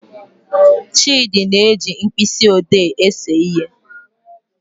Chidi na-eji mkpịsị odee ese ihe